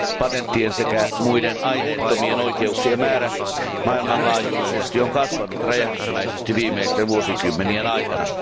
Patenttien sekä muiden aineettomien oikeuksien määrä maailmanlaajuisesti on kasvanut räjähdysmäisesti viimeisten vuosikymmenien aikana.